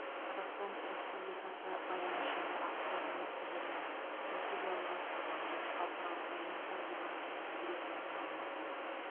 қазақстан республикасы байланыс және ақпарат министрлігінің стратегиялық жоспарлау және халықаралық байланыстар департаменті директорының орынбасары